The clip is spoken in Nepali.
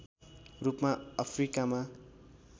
रूपमा अफ्रिकामा